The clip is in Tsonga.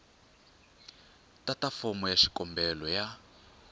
tata fomo ya xikombelo ya